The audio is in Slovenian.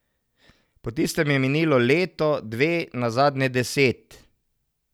Po tistem je minilo leto, dve, nazadnje deset.